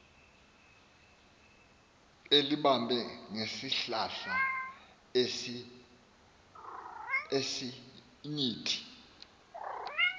elibambe ngesihlahla sesinyithi